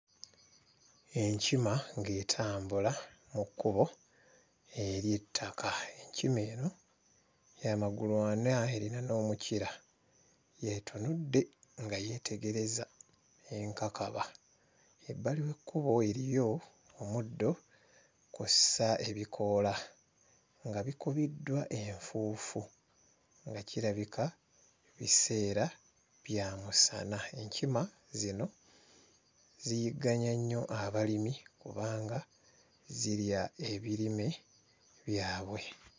Enkima ng'etambula mu kkubo ery'ettaka. Enkima eno ya magulu ana eyina n'omukira etunudde nga yeetegereza enkakaba ebbali w'ekkubo eriyo omuddo kw'ossa ebikoola nga bikubiddwa enfuufu nga kirabika biseera bya musana enkima zino ziyigganya nnyo abalimi kubanga zirya ebirime byabwe.